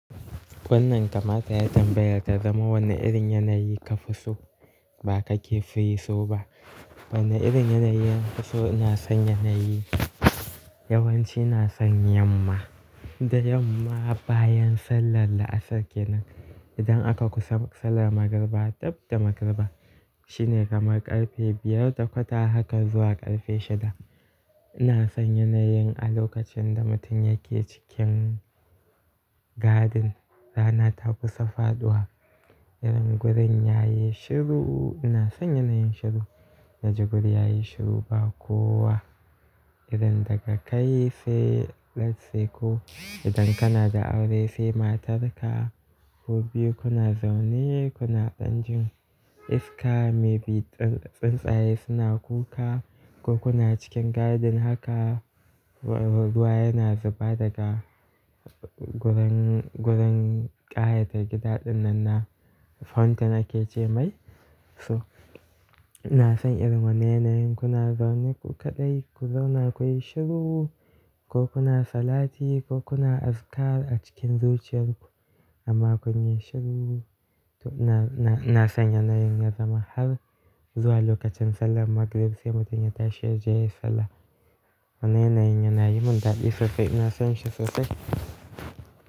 Wannan kamata yayi tambayar ta zama wane irin yanayi ka fi so ba ka ke fi so ba. Wane irin yanayi nafi so? Na son yanayi yawanci na son yamma. Da yamma bayan sallar la'asar kenan idan aka kusa sallar magriba dabba da magariba shine kamar ƙarfe biyar da kwata haka zuwa ƙarfe shida. Ina son yanayin a lokacin da mutum yake cikin garden rana ta kusa faɗuwa. Irin gurin yayi shiru ina son yanayin shiru. Na ji guri yayi shiru ba kowa. Idan daga kai sai let say ko idan kana da aure sai matarka ku biyu kuna zaune kuna ɗan jin iska maybe tsuntsaye suna kuka ko kuna cikin garden haka ruwa yana zuba daga gurin, gurin ƙayatar gida ɗin nan na fountain ake ce mai. So ina son irin wannan yanayin kuna zaune ku kaɗai ku zauna kuyi shiru ko kuna salati ko kuna azikar a cikin zuciyar ku amma kun yi shiru. To na, na, ina son yanayin ya zama har zuwa lokacin sallar magrib sai mutum ya tashi yaje sallah. Wannan yanayin yana yi mun daɗi sosai ina son shi sosai.